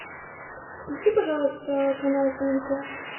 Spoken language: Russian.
включи пожалуйста канал тнт